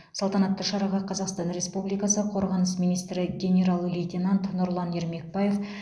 салтанатты шараға қазақстан республикасы қорғаныс министрі генерал лейтенант нұрлан ермекбаев